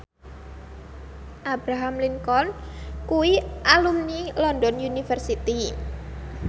Abraham Lincoln kuwi alumni London University